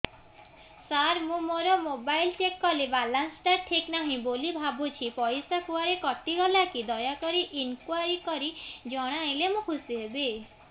ସାର ମୁଁ ମୋର mobile check କଲି ବାଲାନ୍ସ ଟା ଠିକ ନାହିଁ ବୋଲି ଭାବୁଛି ପଇସା କୁଆଡେ କଟି ଗଲା କି ଦୟାକରି ଇନକ୍ୱାରି କରି ଜଣାଇଲେ ମୁଁ ଖୁସି ହେବି